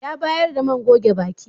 Ya bayar da man goge baki.